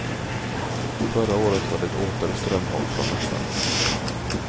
Förra året var det åter strömhopp från mässan.